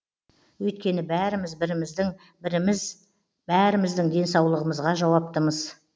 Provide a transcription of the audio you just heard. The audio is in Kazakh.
өйткені бәріміз біріміздің біріміз бәріміздің денсаулығымызға жауаптымыз